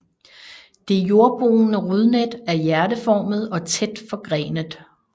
Det jordboende rodnet er hjerteformet og tæt forgrenet